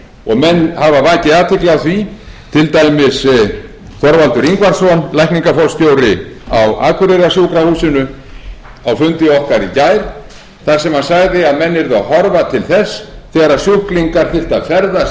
og menn hafa vakið athygli á því til dæmis þorvaldur ingvarsson lækningaforstjóri á akureyrarsjúkrahúsinu á fundi okkar í gær þar sem hann sagði að menn yrðu að horfa til þess þegar sjúklingar þarf að ferðast